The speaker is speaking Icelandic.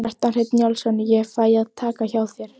Kjartan Hreinn Njálsson: Ég fæ að taka hjá þér?